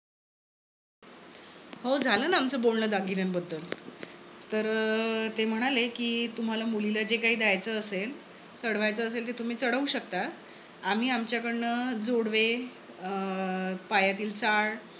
हो झालं ना आमच बोलण दागिन्यानबद्दल. तर अं ते म्हणाले तुम्हाला मुलीला जे काही द्यायचं असेल, चढवायचं असेल ते तुम्ही चढवू शकता. आम्ही आमच्याकडनं जोडवे, अं पायातील चाळ